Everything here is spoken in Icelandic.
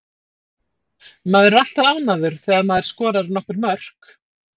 Maður er alltaf ánægður þegar maður skorar nokkur mörk.